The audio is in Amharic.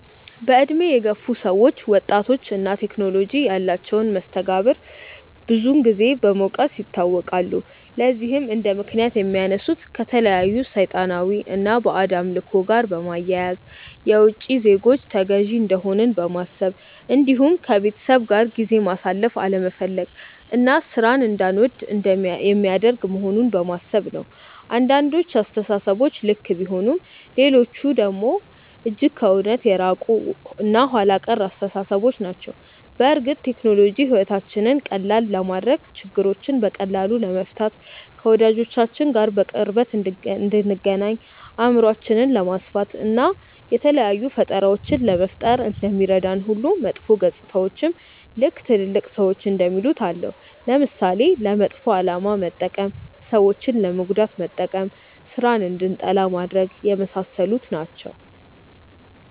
በእድሜ የገፉ ሰዎች ወጣቶች እና ቴክኖሎጂ ያላቸውን መስተጋብር ብዙን ጊዜ በመውቀስ ይታወቃሉ። ለዚህም እንደምክንያት የሚያነሱት ከተለያዩ ሰይጣናዊ እና ባዕድ አምልኮ ጋር በማያያዝ፣ የውቺ ዜጎች ተገዢ እንደሆንን በማሰብ እንዲሁም ከቤተሰብ ጋር ጊዜ ማሳለፍ አለመፈለግ እና ሥራን እንዳንወድ የሚያደርግ መሆኑን በማሰብ ነው። አንዳንዶቹ አስተሳሰቦች ልክ ቢሆኑም ሌሎቹ ደግሞ እጅግ ከእውነት የራቁ እና ኋላ ቀር አስተሳሰቦች ናቸው። በእርግጥ ቴክኖሎጂ ሕይወታችንን ቀላል ለማድረግ፣ ችግሮችን በቀላሉ ለመፍታት፣ ከወዳጆቻችን ጋር በቅርበት እንድንገናኝ፣ አእምሯችንን ለማስፋት፣ እና የተለያዩ ፈጠራዎችን ለመፍጠር እንደሚረዳን ሁሉ መጥፎ ገፅታዎችም ልክ ትልልቅ ሰዎች እንደሚሉት አለው። ለምሳሌ፦ ለመጥፎ አላማ መጠቀም፣ ሰዎችን ለመጉዳት መጠቀም፣ ስራን እንድንጠላ ማድረግ፣ የመሳሰሉት ናቸው።